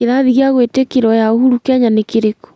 kĩrathi gĩa gwĩtĩkĩrwo ya uhuru Kenya nĩ kĩrĩkũ